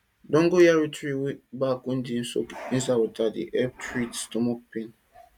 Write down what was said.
dongoyaro tree back wey dem soak inside water dey help treat stomach pain